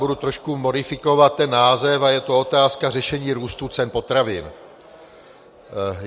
Budu trošku modifikovat ten název a je to Otázka řešení růstu cen potravin.